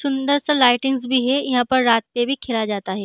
सुन्दर सा लाइटिंग्स भी है | यहाँ पर रात पे भी खेला जाता है।